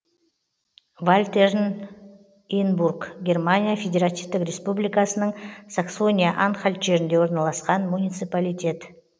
вальтернинбург германия федеративтік республикасының саксония анхальт жерінде орналасқан муниципалитет